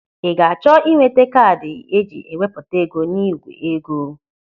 Ị ga-achọ inweta kaadị eji e wepụta ego n'igwe ego?